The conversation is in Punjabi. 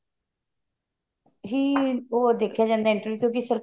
ਹੀ ਉਹ ਦੇਖਿਆ ਜਾਂਦਾ entry ਤੇ